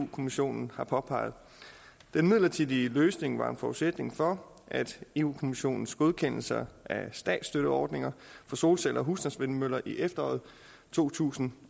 kommissionen har påpeget den midlertidige løsning var en forudsætning for europa kommissionens godkendelse af statsstøtteordninger for solceller og husstandsvindmøller i efteråret to tusind